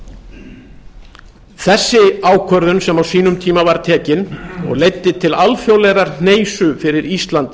þessu þessi ákvörðun sem á sínum tíma var tekin og leiddi til alþjóðlegrar hneisu fyrir ísland